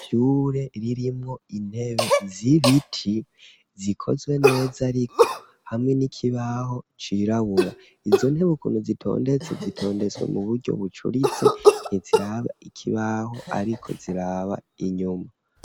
Ishure ririmwo intebe z'ibiti zikozwe neza ariko, hamwe n'ikibaho cirabura, izo ntebe ukuntu zitondetse zitondetswe mu buryo bucuritse, ntiziraba ikibaho ariko ziraba inyuma.